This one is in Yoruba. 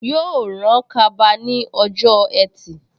Yóò rán kaba ní ọjọ́ ẹtì